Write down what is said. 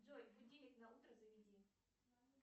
джой будильник на утро заведи